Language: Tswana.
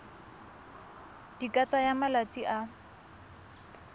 di ka tsaya malatsi a